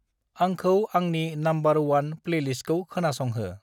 आंखौ आंनि number one प्लेलिस्टखौ खोनासंहो।